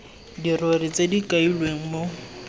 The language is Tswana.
dirori tse di kailweng mo